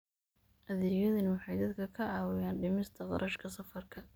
Adeegyadani waxay dadka ka caawiyaan dhimista kharashka safarka.